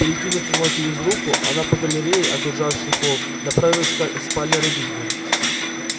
перекинув его через руку она по галерее окружавшей холл направилась ко спальне родителям